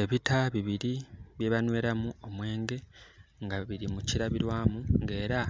Ebita bibiri byebanweramu omwenge nga biri mu kilabilwamu nga era